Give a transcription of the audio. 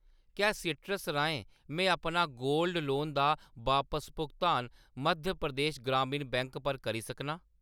क्या सीइट्रस राहें में अपना गोल्ड लोन दा बापस भुगतान मध्य प्रदेश ग्रामीण बैंक पर करी सकनां ?